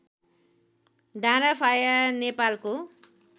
डाँडाफाया नेपालको